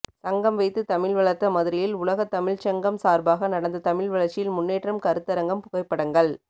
சங்கம் வைத்து தமிழ் வளர்த்த மதுரையில் உலகத்தமிழ்ச் சங்கம் சார்பாக நடந்த தமிழ் வளர்ச்சியில் முன்னேற்றம் கருத்தரங்கம் புகைப்படங்கள்